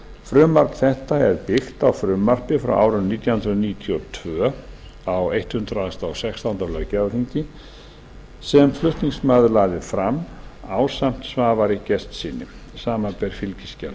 frumvarp þetta er byggt á frumvarpi frá árinu nítján hundruð níutíu og tvö sem flutningsmaður lagði fram ásamt svavari gestssyni samanber fylgiskjal